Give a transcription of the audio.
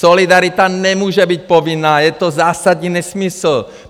Solidarita nemůže být povinná, je to zásadní nesmysl!